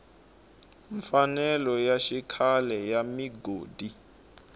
mfanelo ya xikhale ya migodi